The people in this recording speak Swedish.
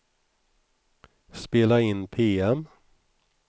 spela in PM